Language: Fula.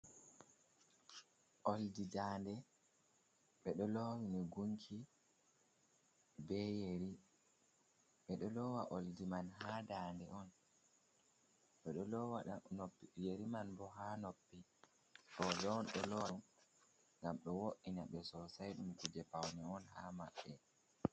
Olɗi nɗanɗe. Ɓe ɗo lowini gunki, ɓe yeri. Ɓe ɗo lowa olɗi man ha nɗanɗe on. Ɓe ɗo lowa yeri man ɓo ha noppi. Roɓe on ɗo lowa, ngam ɗo vo’ina ɓe sosai, ɗum kuje pawne on ha maɓɓe.